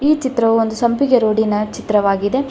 ಈ ಚಿತ್ರವು ಒಂದು ಸಂಪಿಗೆ ರೋಡ್ ನ ಚಿತ್ರವಾಗಿದೆ.